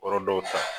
Yɔrɔ dɔw ta